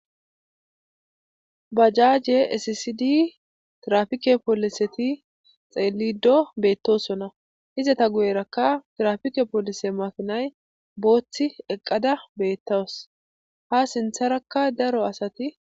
Bajaaje sisidi trafike pooliseti xeelido beettosona izata guyerakka trafike poolise makinay booththi eqqada beettaws ha sintharakka daro asati.